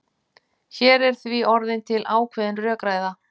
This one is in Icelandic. Hér er því orðin til ákveðin rökræða.